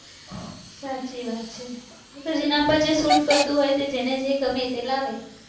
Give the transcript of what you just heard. સાચી વાત છે એતો જેના પર જે શુટ કરતુ હોય જેને જે ગમે તે લાવે.